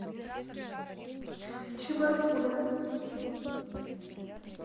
чебаркуля